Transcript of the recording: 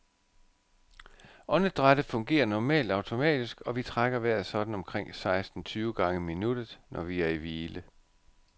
Åndedrættet fungerer normalt automatisk, og vi trækker vejret sådan omkring seksten tyve gange i minuttet, når vi er i hvile.